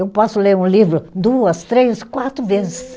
Eu posso ler um livro duas, três, quatro vezes.